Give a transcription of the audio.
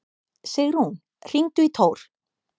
Sigrún, hringdu í Tór.